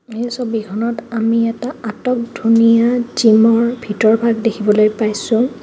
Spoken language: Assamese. এই ছবিখনত আমি এটা আটকধুনীয়া জিম ৰ ভিতৰ ভাগ দেখিবলৈ পাইছোঁ.